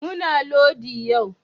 Muna lodi yu